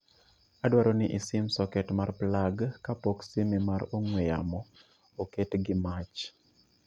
adwaro ni isim soket mar plag kapok sime mar ong'we yawo oket' gi mach